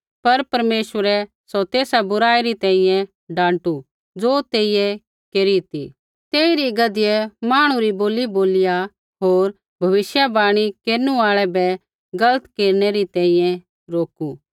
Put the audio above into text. पर परमेश्वरै सौ तेसा बुराई री तैंईंयैं डाँटू ज़ो तेइयै केरी ती तेइरी गधियै मांहणु री बोली बोलिया होर भविष्यवाणी केरनु आल़ै बै गलत केरनै न रोकू